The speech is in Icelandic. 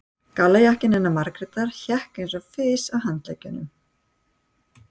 Gallajakkinn hennar Margrétar hékk eins og fis á handleggnum.